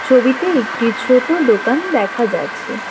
ছবিতে একটি ছোট দোকান দেখা যাচ্ছে।